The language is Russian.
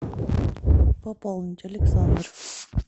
пополнить александр